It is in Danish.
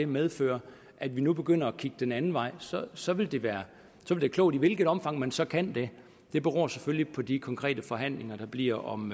medføre at vi nu begynder at kigge den anden vej så vil det være klogt i hvilket omfang man så kan det beror selvfølgelig på de konkrete forhandlinger der bliver om